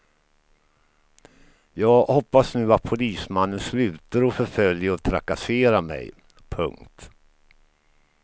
Jag hoppas nu att polismannen slutar att förfölja och trakassera mig. punkt